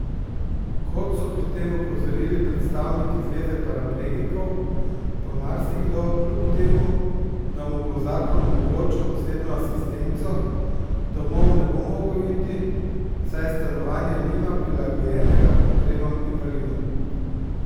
Kot so pri tem opozorili predstavniki Zveze paraplegikov, pa marsikdo kljub temu, da mu bo zakon omogočil osebno asistenco, domov ne bo mogel iti, saj stanovanja nima prilagojenega potrebam invalidom.